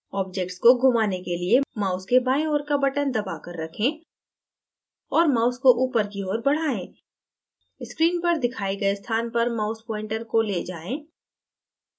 object को घुमाने के लिए mouse के बाएँ ओर का button दबा कर रखें और mouse को ऊपर की ओर बढायें screen पर दिखाए गए स्थान पर mouse pointer को ले जाएँ